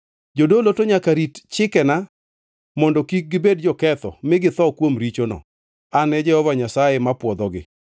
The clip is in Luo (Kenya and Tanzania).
“ ‘Jodolo to nyaka rit chikena mondo kik gibed joketho mi githo kuom richono. An e Jehova Nyasaye mapwodhogi.